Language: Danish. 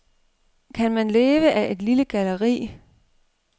Kan man leve af et lille galleri?